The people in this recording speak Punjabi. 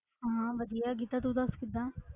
ਹਾਂ ਵਧੀਆ ਗੀਤਾ ਤੂੰ ਦੱਸ ਕਿੱਦਾਂ।